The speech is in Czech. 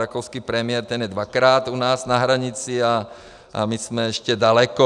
Rakouský premiér, ten je dvakrát u nás na hranici, a my jsme ještě daleko.